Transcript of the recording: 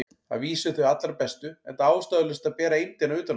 Að vísu þau allra bestu, enda ástæðulaust að bera eymdina utan á sér.